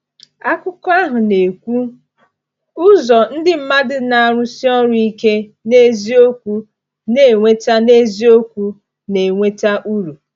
Akụkọ ahụ na-ekwu: “Ụzọ ndị mmadụ na-arụsi ọrụ ike n’eziokwu na-eweta n’eziokwu na-eweta uru.”